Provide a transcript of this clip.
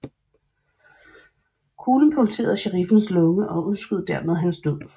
Kuglen punkterede sheriffens lunge og udskød dermed hans død